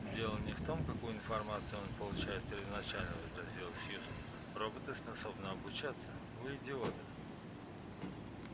дело не в том какую информацию он получает первоначально возразила сьюзен роботы способны обучаться вы идиот